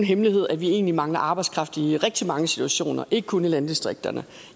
hemmelighed at vi egentlig mangler arbejdskraft i rigtig mange situationer ikke kun i landdistrikterne